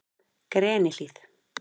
Grenihlíð